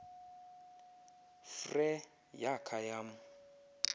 frere yakha yam